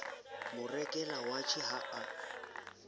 mo rekela watjhe ha a